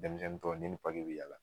Denmisɛnnin tɔ ne ni be yaala